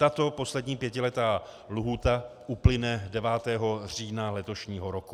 Tato poslední pětiletá lhůta uplyne 9. října letošního roku.